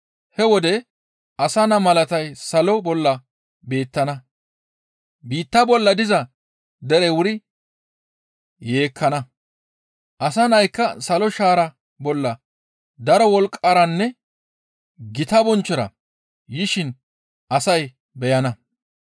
«He wode asa naa malatay salo bolla beettana. Biitta bolla diza derey wuri yeekkana; Asa Naykka salo shaara bolla daro wolqqaranne gita bonchchora yishin asay beyana.